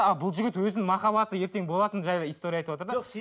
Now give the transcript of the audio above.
ал бұл жігіт өзінің махаббаты ертең болатыны жайлы история айтыватыр да